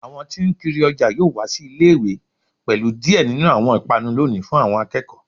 Awọn tí n kiri ọjà yoo wa si ile-iwe pẹlu diẹ ninu awọn ipanu loni fun awọn akẹkọ